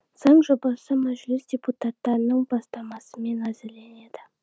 заң жобасы мәжіліс депутаттарының бастамасымен әзірленеді